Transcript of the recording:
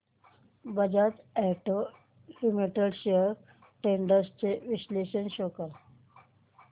Bajaj auto limited shares trends चे विश्लेषण show कर